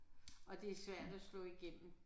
Og det er svært at slå igennem